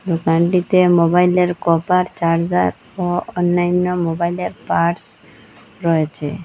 দোকানটিতে মোবাইলের cover charger ও অন্যান্য মোবাইলের পার্টস রয়েছে।